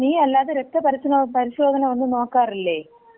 നീ അല്ലാതെ രക്ത പരിശോധന ഒന്നും നോക്കാറില്ലേ?